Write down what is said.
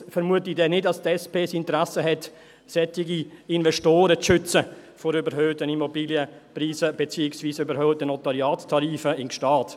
Allerdings vermute ich nicht, dass die SP ein Interesse daran hat, solche Investoren vor überhöhten Immobilienpreisen in Gstaad, beziehungsweise vor überhöhten Notariatstarifen zu schützen.